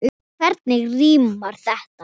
Hvernig rímar þetta?